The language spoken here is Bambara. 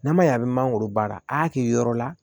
N'a ma ɲɛ a bɛ mangoro baara a kɛ yɔrɔ la